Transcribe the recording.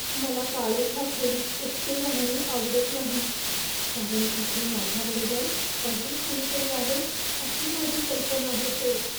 मला काळोख्या खोलीत एकटे राहणे आवडत नाही, कारण तिथे माझ्याबरोबर अजून कुणीतरी आहे अशी माझी कल्पना होते.